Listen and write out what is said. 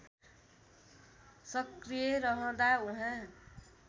सक्रिय रहँदा उहाँ